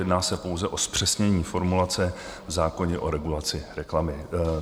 Jedná se pouze o zpřesnění formulace v zákoně o regulaci reklamy.